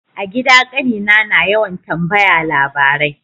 A gida kanina na yawan tambaya labarai.